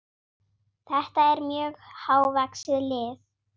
Þetta er mjög hávaxið lið.